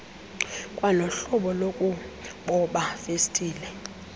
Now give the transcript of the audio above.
kwanohlobo lokuboba festile